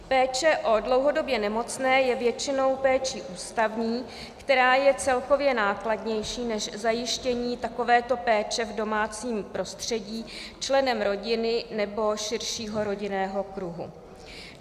Péče o dlouhodobě nemocné je většinou péčí ústavní, která je celkově nákladnější než zajištění takovéto péče v domácím prostředí členem rodiny nebo širšího rodinného kruhu.